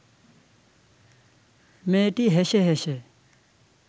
মেয়েটি হেসে হেসে